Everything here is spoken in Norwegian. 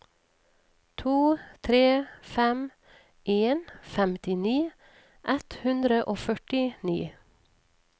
to tre fem en femtini ett hundre og førtini